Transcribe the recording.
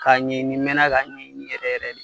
Ka ɲɛ ɲini, n mɛna ka ɲɛ ɲini yɛrɛ yɛrɛ de.